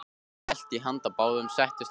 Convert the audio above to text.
Hellti í handa báðum, settist og sagði: